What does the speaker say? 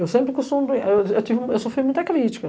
Eu sempre costumo, eu eu tive eu sofri muita crítica.